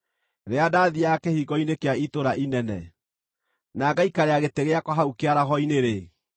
“Rĩrĩa ndaathiiaga kĩhingo-inĩ kĩa itũũra inene, na ngaikarĩra gĩtĩ gĩakwa hau kĩaraho-inĩ-rĩ,